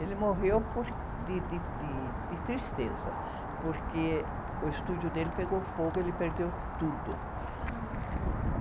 Ele morreu por, de, de, de, de tristeza, porque o estúdio dele pegou fogo, ele perdeu tudo.